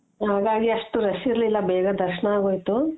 ಹಾಗಾಗಿ ಅಷ್ಟು rush ಇರ್ಲಿಲ್ಲ ಬೇಗ ದರ್ಶನ ಆಗೋಯ್ತು